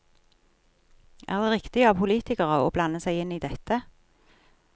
Er det riktig av politikere å blande seg inn i dette?